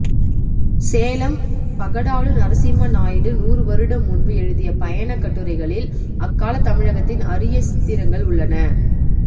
சேலம் பகடாலு நரசிம்ம நாயிடு நூறுவருடம் முன்பு எழுதிய பயணக்கட்டுரைகளில் அக்கால தமிழகத்தின் அரிய சித்திரங்கள் உள்ளன